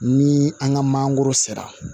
Ni an ka mangoro sera